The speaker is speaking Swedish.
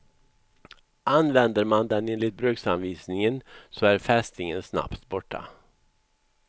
Använder man den enligt bruksanvisningen så är fästingen snabbt borta.